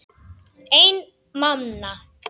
Einn manna!